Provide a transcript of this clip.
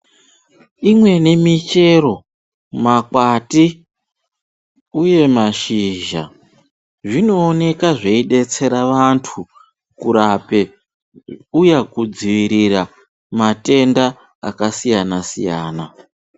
Imweni michero, makwati uye mashizha zvinooneka zveidetsera vantu kurape uye kudzivirira matenda akasiyana-siyana.